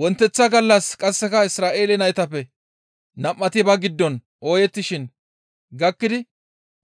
Wonteththa gallas qasseka Isra7eele naytappe nam7ati ba giddon ooyettishin gakkidi